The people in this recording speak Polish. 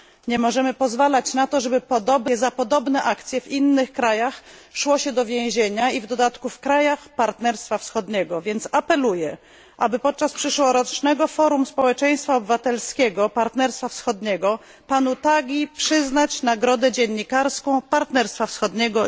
Nie możemy pozwalać na to, żeby za podobne akcje w innych krajach szło się do więzienia i to w dodatku w krajach Partnerstwa Wschodniego. Apeluję, aby podczas przyszłorocznego forum społeczeństwa obywatelskiego Partnerstwa Wschodniego panu Tagiemu przyznać nagrodę dziennikarską Partnerstwa Wschodniego.